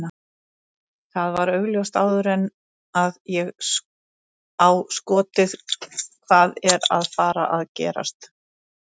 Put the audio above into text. Það var augljóst áður en að ég á skotið hvað er að fara að gerast.